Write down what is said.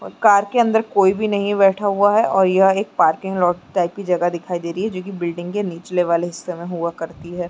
और कार के अंदर कोई भी नहीं बैठा हुआ है और यह एक पार्किंग लॉट टाइप की जगह दिखाई दे रही है जोकि बिल्डिंग के निचले वाले हिस्से में हुआ करती है ।